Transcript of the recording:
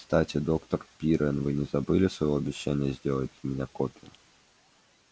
кстати доктор пиренн вы не забыли своего обещания сделать для меня копию